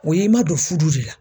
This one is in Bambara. O ye i ma don fudu de la.